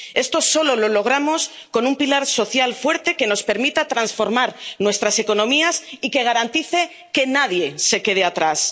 Esto solo lo logramos con un pilar social fuerte que nos permita transformar nuestras economías y que garantice que nadie se quede atrás.